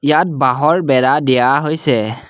ইয়াত বাঁহৰ বেৰা দিয়া হৈছে।